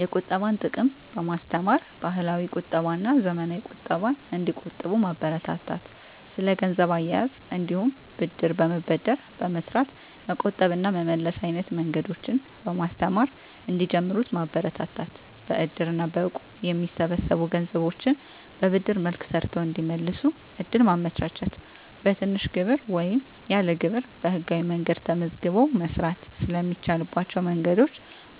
የቁጠባን ጥቅም በማስተማር፣ ባህላዊ ቁጠባና ዘመናዊ ቁጠባን እንዲቆጥቡ ማበረታታት። ስለ ገንዘብ አያያዝ እንዲሁም ብድር በመበደር በመስራት መቆጠብ እና መመለስ አይነት መንገዶችን በማስተማር እንዲጀምሩት ማበረታታት። በእድር እና በእቁብ የሚሰበሰቡ ገንዘቦችን በብድር መልክ ሰርተው እንዲመልሱ እድል ማመቻቸት። በትንሽ ግብር ወይም ያለ ግብር በህጋዊ መንገድ ተመዝግቦ መስራት ስለሚቻልባቸው መንገዶች